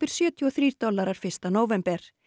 sjötíu og þrír dollarar fyrsta nóvember